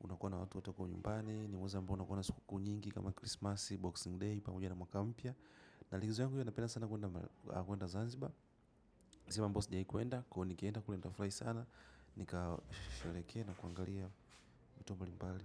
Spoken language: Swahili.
unakuwa na watu wote wako nyumbani, ni mwezi ambao unakuwa na sikukuu nyingi kama Christmas, Boxing Day, pamoja na mwaka mpya. Na likizo yangu hiyo napenda sana kwenda Zanzibar, ni sehemu ambayo sijawahi kwenda, kwahiyo nikienda kule nitafurahi sana. Nikasherehekee na kuangalia vitu mbalimbali.